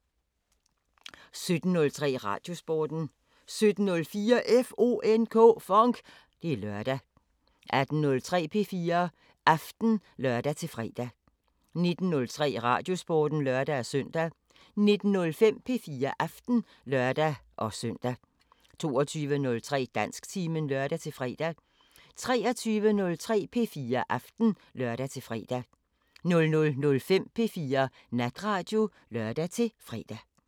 17:03: Radiosporten 17:04: FONK! Det er lørdag 18:03: P4 Aften (lør-fre) 19:03: Radiosporten (lør-søn) 19:05: P4 Aften (lør-søn) 22:03: Dansktimen (lør-fre) 23:03: P4 Aften (lør-fre) 00:05: P4 Natradio (lør-fre)